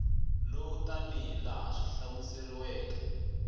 lowu tanihi laha swi hlamuseriweke